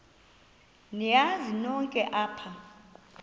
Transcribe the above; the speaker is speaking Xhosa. niyazi nonk apha